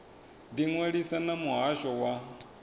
ḓi ṅwalisa na muhasho wa